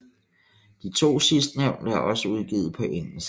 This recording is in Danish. De to sidstnævnte er også udgivet på engelsk